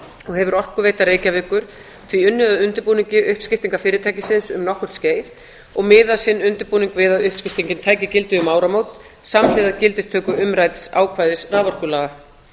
og hefur orkuveita reykjavíkur því unnið að undirbúningi uppskiptingar fyrirtækisins um nokkurt skeið og miðað sinn undirbúning við að uppskiptingin taki gildi um áramót samhliða gildistöku umrædds ákvæðis raforkulaga